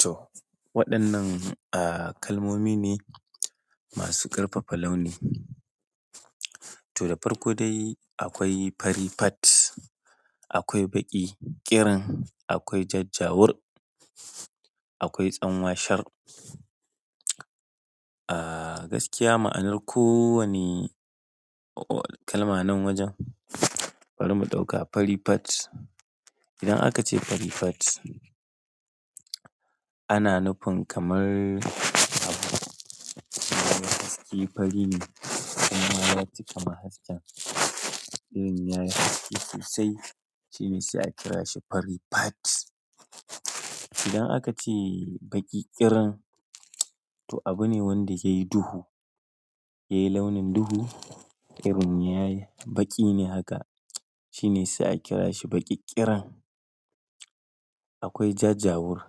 To, waɗannan, ah, kalmomi ne masu ƙarfafa launi. To, da farko dai akwai farifat, akwai baƙi ƙiran, akwai jajjawur, akwai tsanwashar. Ah, gaskiya ma'anar kowane kalma nan wajen. Bari mu ɗauka farifat. Idan aka ce farifat ana nufin kamar abu yayi haske fari ne kuma ya cika ma hasken. Irin ya yi haske sosai shine sai a kira shi farifat. Idan aka ce baƙi ƙiran to abu ne wanda yayi duhu, yayi launin duhu. Irin ya yi baƙi ne haka shine sai a kira shi baƙi ƙiran. Akwai jajjawur.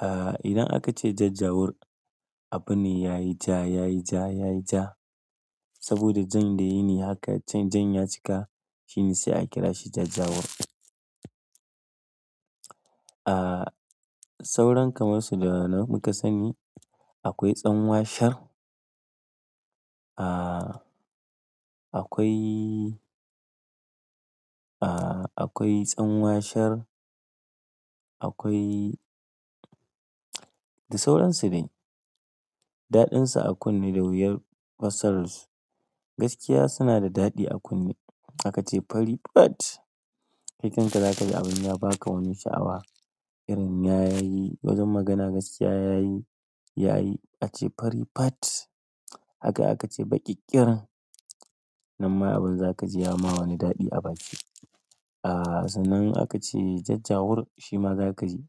Ah, idan aka ce jajjawur abu ne ya yi ja, ya yi ja, ya yi ja saboda jan da yayi ne haka can jan ya cika shine sai a kira shi jajjawur. Ah, sauran kamar su da nan muka sani. Akwai tsanwasar. Ah, akwai, ah, akwai tsanwasar. Akwai da sauran su dai. Daɗinsu a kunne da wuyar fassara su. Gaskiya suna da daɗi a kunne. Aka ce farifat. Kai kan ka zaka ji abin ya baka wani sha'awa. Irin ya yi, wajen magana gaskiya yayi, yayi ace farifat. Haka aka ce baƙi ƙiran. Nan ma abin zaka ji ya ma wani daɗi a baki. Ah, sannan aka ce jajjawur shi ma zaka ji.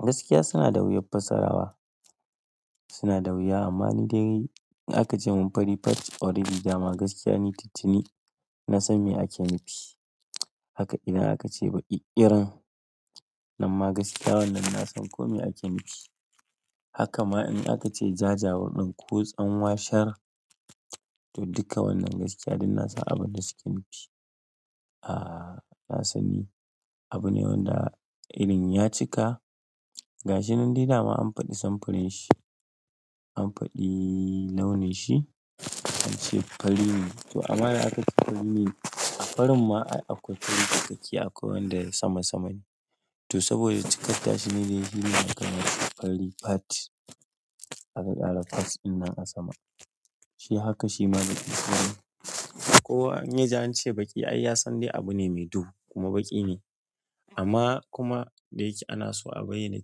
Gaskiya suna da wuyar fassara wa. Suna da wuya amma ni dai in aka ce mun farifat already dama gaskiya ni tuntuni na san me ake nufi. Haka idan aka ce baƙi ƙirin nan ma gaskiya wannan na san kome ake nufi. Haka ma in aka ce jajjawur ɗin ko tsanwasar to duka wannan gaskiya duk na san abin da suke nufi. Ah, na sani. Abu ne wanda irin ya cika. Ga shi nan dai da ma an faɗi samfurin shi. An faɗi launin shi an ce fari ne. To amma da aka ce fari ne a farin ma ai akwai fari cikakke akwai wanda yayi sama sama ne. To saboda cikatta shi ne da yayi shine aka bashi fari fat. Aka ƙara fat din nan a sama. Shi haka shi ma baƙi ƙirin, kowa in ya ji an ce baƙi ai ya san dai abu ne mai duhu kuma baƙi ne. Amma kuma da yake ana so a bayyana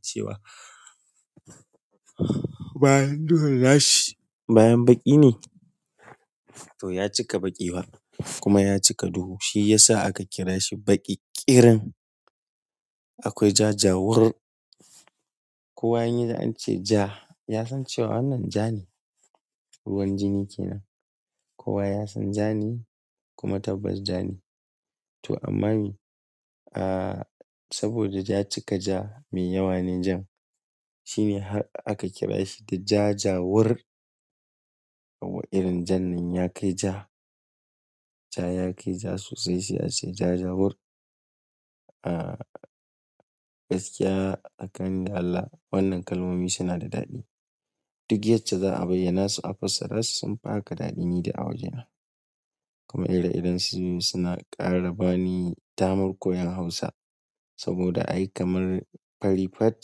cewa bayan duhun na shi bayan baƙi ne. To ya cika baƙi kuma ya cika duhu shi ya sa aka kira shi baƙi ƙiran. Akwai jajjawur. Kowa in yiji an ce ja ya san cewa wannan ja ne. Ruwan jini ke nan. Ko wa ya san ja ne kuma tabbas ja ne. To amma me? Ah, saboda ya cika ja mai yawa ne jan. Shi ne har aka kira shi da jajjawur. Irin jan nan ya kai ja. Ja ya kai ja sosai sai a ce jajjawur. Ah, gaskiya tsakani da Allah wannan kalmomi suna da daɗi. Duk yacca za a bayyana su a fassara su sun fi haka daɗi ni dai awajena. Kuma ire iren su suna ƙara bani damar koyon Hausa. Saboda ai kamar farifat,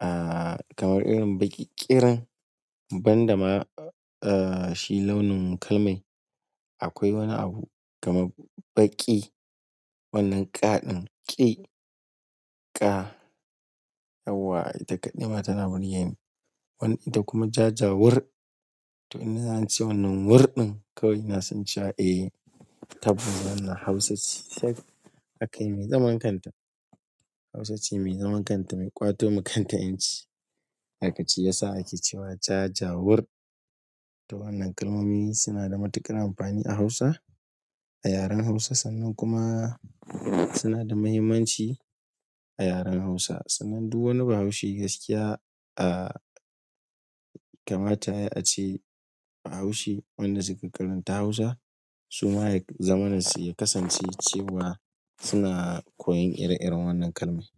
ah, kamar irin baƙi ƙiran, ban da ma, ah, shi launin kalmai. Akwai wani abu kamar baƙi wannan ƙaɗin ƙe ƙa yauwa ita kaɗai ma tana burgeni. Wani ita kuma jajjawur. To in naji ance wannan wurɗin kawai na san cewa eh, tabbas wannan Hausa ce tak. Aka yi mai zaman kanta. Hausa ce mai zaman kanta mai ƙwato ma kanta 'yanci. Aka ce ya sa ake cewa jajjawur. To wannan kalmomi suna da matuƙar amfani a Hausa. A yaren Hausa sannan kuma suna da muhimmanci a yaren Hausa. Sannan duk wani Bahaushe gaskiya, ah, kamata yayi ace Bahaushe wanda suka karanta Hausa suma yazama su ya kasance cewa suna koyon ire-iren wannan kalmai.